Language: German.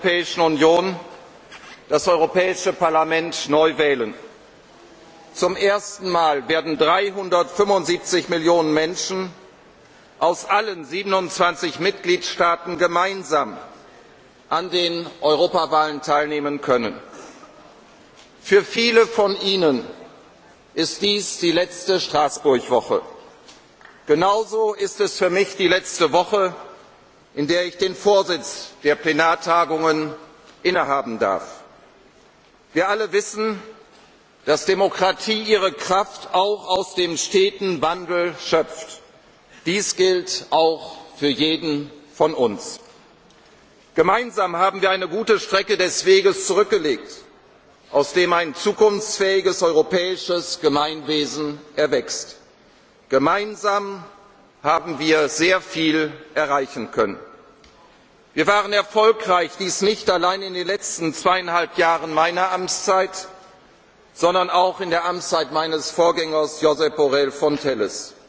Liebe Kolleginnen und Kollegen! In wenigen Wochen zwischen dem 4. und 7. Juni werden die Bürgerinnen und Bürger der Europäischen Union das Europäische Parlament neu wählen. Zum ersten Mal werden 375 Millionen Menschen aus allen 27 Mitgliedstaaten gemeinsam an den Europawahlen teilnehmen können. Für viele von Ihnen ist dies die letzte Straßburg Woche. Genauso ist es für mich die letzte Woche, in der ich den Vorsitz der Plenartagungen innehaben darf. Wir alle wissen, dass Demokratie ihre Kraft auch aus dem steten Wandel schöpft. Dies gilt auch für jeden von uns. Gemeinsam haben wir eine gute Strecke des Weges zurückgelegt, aus dem ein zukunftsfähiges europäisches Gemeinwesen erwächst. Gemeinsam haben wir sehr viel erreichen können. Wir waren erfolgreich, dies nicht allein in den letzten zweieinhalb Jahren meiner Amtszeit, sondern auch in der Amtszeit meines Vorgängers Josep Borrell Fontelles.